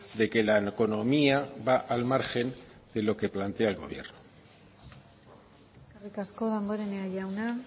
de que la economía va al margen de lo que plantea el gobierno eskerrik asko damborenea jauna